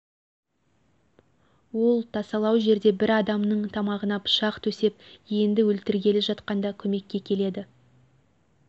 ол тасалау жерде бір адамының тамағына пышақ төсеп енді өлтіргелі жатқанда көмекке келеді